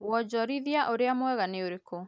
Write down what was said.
Wanjorithia urĩa mwega nĩ ũrĩkũ